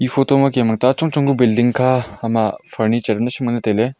ee photo ma kem ang ta chong chong ka building kha hama furniture naishim nganley tailey.